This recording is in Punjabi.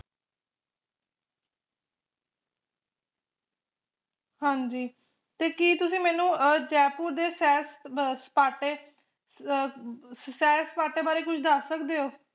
ਹਾਂਜੀ ਤੇ ਕਿ ਤੁਸੀ ਮੈਨੂੰ ਅਹ ਜੈਪੁਰ ਸੈਰ ਅਹ ਸਪਾਟੇ ਅਹ ਸੈਰ ਸਪਾਟੇ ਬਾਰੇ ਕੁਝ ਦਸ ਸਕਦੇ ਓ